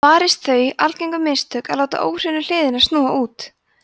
varist þau algengu mistök að láta óhreinu hliðina snúa út